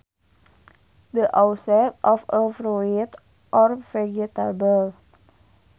The outside of a fruit or vegetable